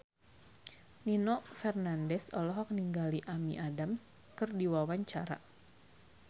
Nino Fernandez olohok ningali Amy Adams keur diwawancara